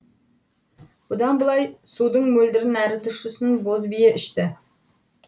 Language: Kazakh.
бұдан былай судың мөлдірін әрі тұщысын боз бие ішті